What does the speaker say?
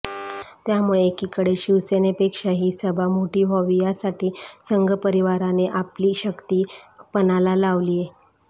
त्यामुळे एकीकडे शिवसेनेपेक्षा ही सभा मोठी व्हावी यासाठी संघ परिवाराने आपली शक्ती पणाला लावलीय